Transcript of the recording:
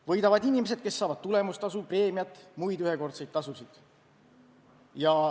Võidavad inimesed, kes saavad tulemustasu, preemiat, muid ühekordseid tasusid.